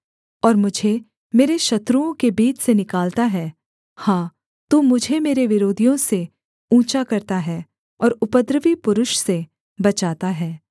और मुझे मेरे शत्रुओं के बीच से निकालता है हाँ तू मुझे मेरे विरोधियों से ऊँचा करता है और उपद्रवी पुरुष से बचाता है